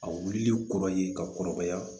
A wulili kɔrɔ ye ka kɔrɔbaya